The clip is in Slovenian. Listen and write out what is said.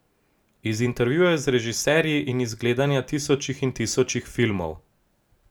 Iz intervjujev z režiserji in iz gledanja tisočih in tisočih filmov.